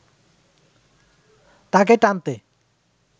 তাকে টানতে